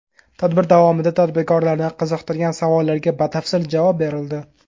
Tadbir davomida tadbirkorlarni qiziqtirgan savollarga batafsil javob berildi.